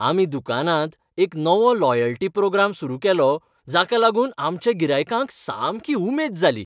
आमी दुकानांत एक नवो लॉयल्टी प्रोग्राम सुरू केलो जाका लागून आमच्या गिरायकांक सामकी उमेद जाली.